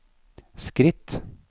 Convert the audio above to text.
skritt